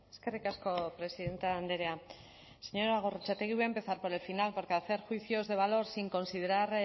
eskerrik asko presidente andrea señora gorrotxategi voy a empezar por el final porque hacer juicios de valor sin considerar